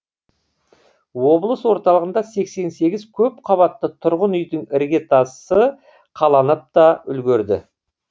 облыс орталығында сексен сегіз көпқабатты тұрғын үйдің іргетасы қаланыпта үлгерді